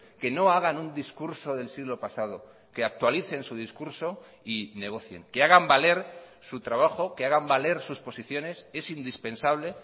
que no hagan un discurso del siglo pasado que actualicen su discurso y negocien que hagan valer su trabajo que hagan valer sus posiciones es indispensable